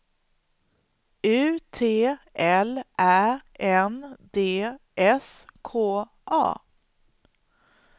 U T L Ä N D S K A